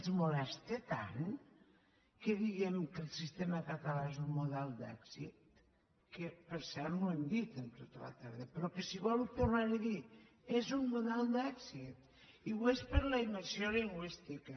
els molesta tant que diguem que el sistema català és un model d’èxit que per cert no ho hem dit en tota la tarda però que si vol ho tornaré a dir és un model d’èxit i ho és per la immersió lingüística